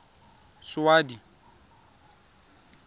saudi